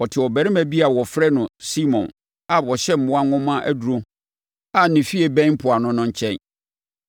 Ɔte ɔbarima bi a wɔfrɛ no Simon a ɔhyɛ mmoa nwoma aduro a ne fie bɛn mpoano no nkyɛn.”